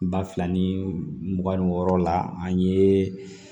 Ba fila ni mugan ni wɔɔrɔ la an ye